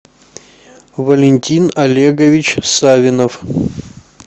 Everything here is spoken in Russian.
валентин олегович савинов